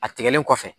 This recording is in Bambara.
A tigɛlen kɔfɛ